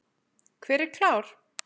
Hver er klár?